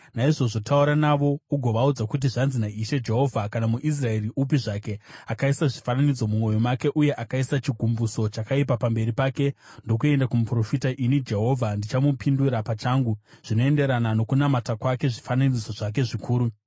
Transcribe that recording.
Naizvozvo taura navo ugovaudza kuti, ‘Zvanzi naIshe Jehovha: Kana muIsraeri upi zvake akaisa zvifananidzo mumwoyo make uye akaisa chigumbuso chakaipa pamberi pake ndokuenda kumuprofita, ini Jehovha ndichamupindura pachangu zvinoenderana nokunamata kwake zvifananidzo zvake zvikuru.